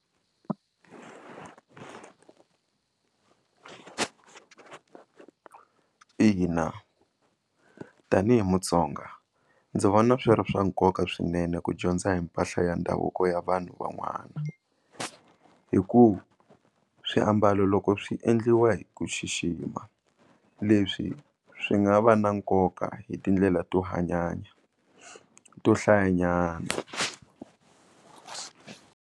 Ina tanihi Mutsonga ndzi vona swi ri swa nkoka swinene ku dyondza hi mpahla ya ndhavuko ya vanhu van'wana hi ku swiambalo loko swi endliwa hi ku xixima leswi swi nga va na nkoka hi tindlela to hanyanya to hlayanyana.